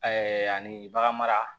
ani bagan mara